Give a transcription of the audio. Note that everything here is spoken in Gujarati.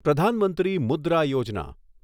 પ્રધાન મંત્રી મુદ્રા યોજના